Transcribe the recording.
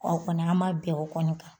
aw kɔni an ma bɛn o kɔni kan